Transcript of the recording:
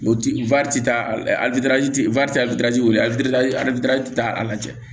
O ti wele alidirazi taa a lajɛ